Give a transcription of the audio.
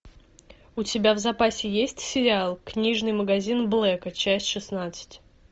у тебя в запасе есть сериал книжный магазин блэка часть шестнадцать